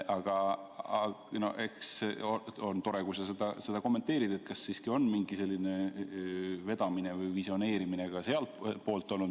Aga on tore, kui sa kommenteerid seda, kas siiski on mingi selline vedamine või visioneerimine ka sealtpoolt olnud.